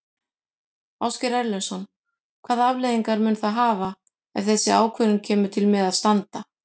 Ásgeir Erlendsson: Hvaða afleiðingar mun það hafa ef þessi ákvörðun kemur til með að standa?